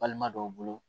Balima dɔw bolo